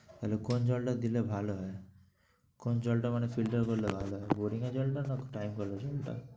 তাহলে কোন জলটা দিলে ভালো হয়? কোন জলটা মানে filter করলে ভালো হয় boring এর জলটা নাকি time কলের জলটা?